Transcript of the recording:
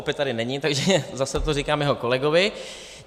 Opět tady není, takže zase to říkám jeho kolegovi.